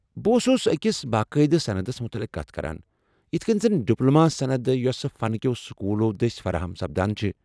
بہٕ اوس أکس باقٲعدٕ سندس مُتعلق کتھ کران، یتھ کٔنہِ زن ڈِپلوما سند یوسہٕ فن كِیو٘ سكوُلو٘ دٕسۍ فراہم سپدان چھِ ۔